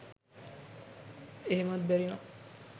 එහෙමත් බැරි නම්